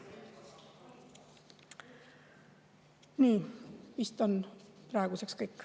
Nii, vist on praeguseks kõik.